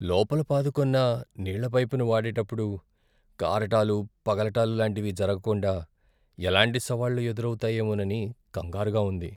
లోపల పాదుకొన్న నీళ్ళ పైపును వాడేటప్పుడు కారటాలు, పగలటాలు లాంటివి జరగకుండా ఎలాంటి సవాళ్లు ఎదురావుతాయోమోనని కంగారుగా ఉంది.